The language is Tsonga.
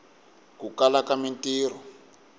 ku kala ka mintiho